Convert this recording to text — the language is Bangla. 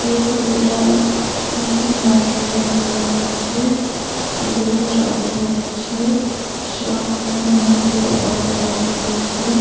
এই ছবিটা একটা মার্কেটে নেওয়া হয়েছে এই ছবিতে রাত হয়ে গেছে সামনে অনেকগুলো অটো দাঁড়িয়ে আছে।